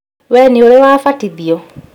Wewe nĩũrĩ wabatithio?